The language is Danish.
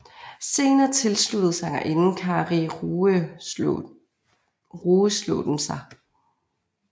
Senere tilsluttede sangerinden Kari Rueslåtten sig